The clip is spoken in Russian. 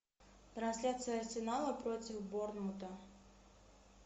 трансляция арсенала против борнмута